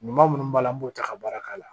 Ɲuman minnu b'a la an b'o ta ka baara k'a la